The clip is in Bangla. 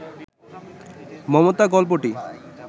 মমতা গল্পটি